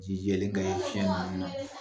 Ji jɛlen kaɲin fiɲɛ nunun na